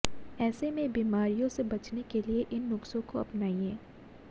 ऐसे में बीमारियों से बचने के लिए इन नुस्खों को अपनाइए